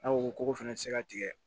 N'a ko ko fɛnɛ ti se ka tigɛ